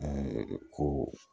ko